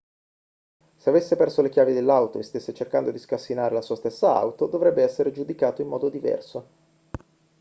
se avesse perso le chiavi dell'auto e stesse cercando di scassinare la sua stessa auto dovrebbe essere giudicato in modo diverso